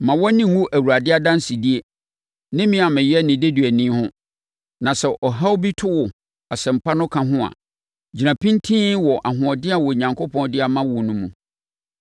Mma wʼani nnwu Awurade adansedie, ne me a meyɛ ne deduani ho. Na sɛ ɔhaw bi to wo Asɛmpa no ka ho a, gyina pintinn wɔ ahoɔden a Onyankopɔn de ama wo no mu.